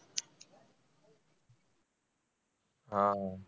हा.